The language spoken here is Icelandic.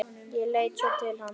Leit svo til hans.